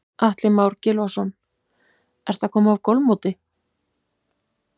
Atli Már Gylfason: Ertu að koma af golfmóti?